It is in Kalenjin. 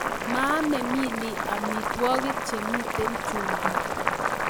Maame Millie amitwogik chemiten chumbik